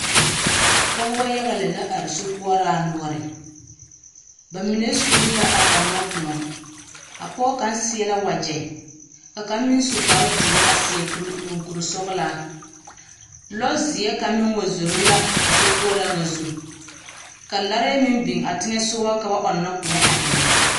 Pͻgebͻ yaga lԑ la are sokoͻraa noͻre. ba mine sulli la a ͻnnͻ kõͻ. A pͻge kaŋa seԑ la wagyԑ ka kaŋa meŋ seԑ kpare dõͻ a seԑ kuri moŋkurisͻgelaa. Lͻzeԑ kaŋa meŋ wa zoro la a sokoͻraa ŋa zu. Ka larԑԑ meŋ biŋ a teŋԑsogͻ ka ba ͻnnͻ kõͻ a ennԑ.